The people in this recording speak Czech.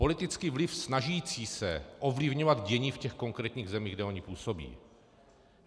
Politický vliv snažící se ovlivňovat dění v těch konkrétních zemích, kde ony působí.